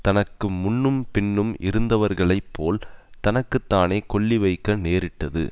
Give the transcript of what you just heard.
தனக்கு முன்னும் பின்னும் இருந்தவர்களைப் போல் தனக்கு தானே கொள்ளி வைக்க நேரிட்டது